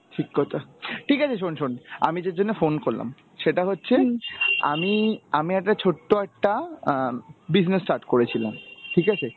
ঠিক কথা. ঠিক আছে, শোন শোন. আমি যে জন্য phone করলাম, সেটা হচ্ছে আমি, আমি একটা ছোট্ট একটা অ্যাঁ business start করেছিলাম. ঠিক আছে?